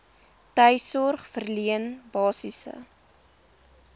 tuissorg verleen basiese